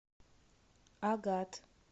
агат